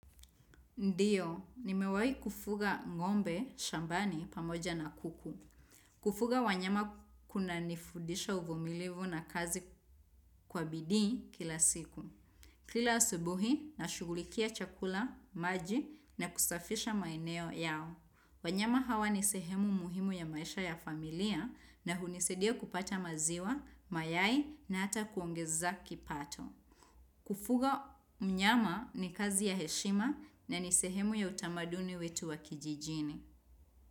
Ndio, nimewahi kufuga ngombe, shambani, pamoja na kuku. Kufuga wanyama kuna nifudisha uvumilivu na kazi kwa bidii kila siku. Kila asubuhi, nashughulikia chakula, maji, na kusafisha maeneo yao. Wanyama hawa ni sehemu muhimu ya maisha ya familia, na hunisaidia kupata maziwa, mayai, na ata kuongeza kipato. Kufuga mnyama ni kazi ya heshima na ni sehemu ya utamaduni wetu wa kijijini.